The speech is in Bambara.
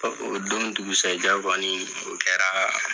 o don dugusɛjɛ kɔni o kɛra